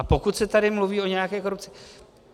A pokud se tady mluví o nějaké korupci.